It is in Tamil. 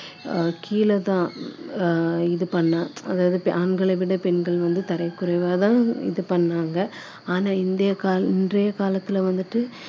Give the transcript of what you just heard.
ஆஹ் கீழ தான் ஆஹ் இது பண்ணா ஆண்களை விட பெண்கள் வந்து தரக்குறைவா தான் இது பண்ணாங்க